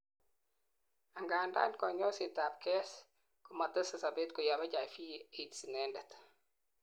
angandan kanyoiset ab KS komatesei sobet koyob HIV/AIDS inendet